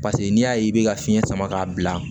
Paseke n'i y'a ye i bɛ ka fiɲɛ sama k'a bila